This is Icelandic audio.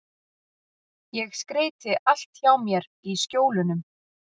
Ég skreyti allt hjá mér í Skjólunum.